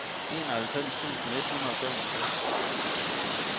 enoghalvfems tusind et hundrede og femogtres